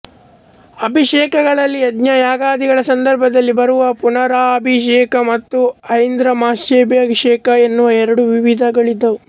ಅಭಿಷೇಕಗಳಲ್ಲಿ ಯಜ್ಞಯಾಗಾದಿಗಳ ಸಂದರ್ಭದಲ್ಲಿ ಬರುವ ಪುನರಭಿಷೇಕ ಮತ್ತು ಐಂದ್ರಮಹಾಭಿಷೇಕ ಎನ್ನುವ ಎರಡು ವಿಧಿಗಳಿದ್ದುವು